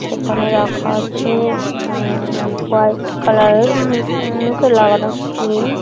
সেখানে রাখা আছে উম হোয়াট কালার -এর উ মুখে লাগানো ক্রিম ।